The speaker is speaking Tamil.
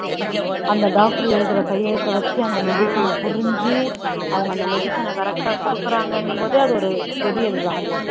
அந்த doctor எழுதுற கையெழுத்தை வச்சு அந்த medicine அ புரிஞ்சு அவங்க அந்த medicine அ correct ஆ குடுக்குறாங்கன்னும்போது அது ஒரு பெரிய இதுதான்